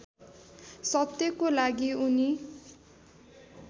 सत्यको लागि उनी